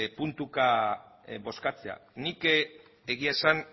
puntuka bozkatzea nik egia esan